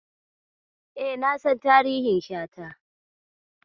E, na san tarihin Shata.